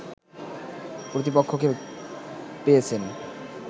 প্রতিপক্ষকে পেয়েছেন